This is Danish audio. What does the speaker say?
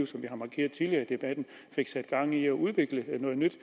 debatten fik sat gang i at udvikle noget nyt